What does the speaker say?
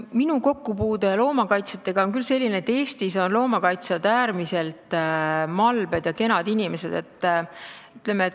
Minu kokkupuude loomakaitsjatega on olnud küll selline, et saan öelda, et Eestis on loomakaitsjad äärmiselt malbed ja kenad inimesed.